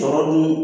Sɔrɔ dun